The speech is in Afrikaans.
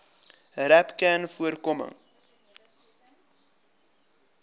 rapcanvoorkoming